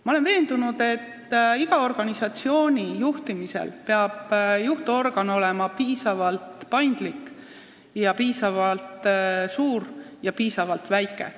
Ma olen veendunud, et iga organisatsiooni juhtorgan peab olema piisavalt paindlik, piisavalt suur ja piisavalt väike.